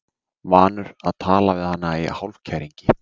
Vanur að tala við hana í hálfkæringi.